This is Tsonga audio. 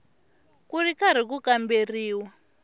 ku ri karhi ku kamberiwa